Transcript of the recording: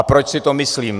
A proč si to myslím?